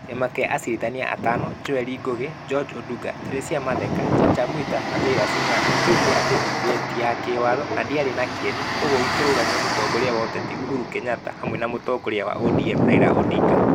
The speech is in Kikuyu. Kĩama kĩa acirithania atano Joel Ngugi, George Odunga, Teresia Matheka, Chacha Mwita na Jairus Ngaah. Nĩ kĩoigire atĩ BBI ti ya kĩwathona ndĩari na kĩene. Kwoguo gĩkĩrugamia mũtongoria wa ũteti Uhuru Kenyatta. Hamwe na mũtongoria wa ODM Raila Odinga.